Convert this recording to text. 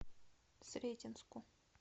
сретенску